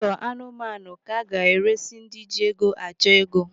Ụlọ anụmanụ ka aga-eresi ndị ji ego achọ ego.